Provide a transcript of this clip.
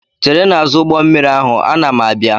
chere n'azụ ụgbọ mmiri ahụ, ana m abịa!